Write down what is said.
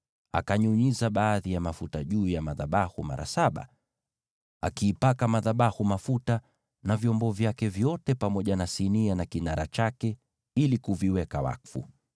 Akanyunyiza baadhi ya mafuta juu ya madhabahu mara saba, akaipaka madhabahu mafuta na vyombo vyake vyote pamoja na sinia na kinara chake, ili kuviweka wakfu.